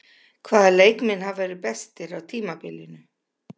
Hvaða leikmenn hafa verið bestir á tímabilinu?